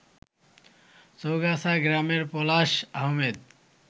চৌগাছা গ্রামের পলাশ আহমেদ